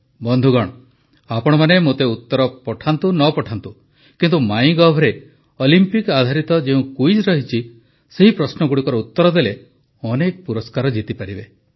ବନ୍ଧୁଗଣ ଆପଣମାନେ ମୋତେ ଉତ୍ତର ପଠାନ୍ତୁ ନ ପଠାନ୍ତୁ କିନ୍ତୁ ମାଇଁ ଗଭରେ ଅଲିମ୍ପିକ ଆଧାରିତ ଯେଉଁ କୁଇଜ ରହିଛି ସେହି ପ୍ରଶ୍ନଗୁଡ଼ିକର ଉତ୍ତର ଦେଲେ ଅନେକ ପୁରସ୍କାର ଜିତିପାରିବେ